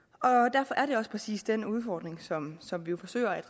derfor er det også præcis den udfordring som som vi jo forsøger at